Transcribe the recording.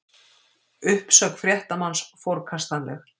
Uppsögn fréttamanns forkastanleg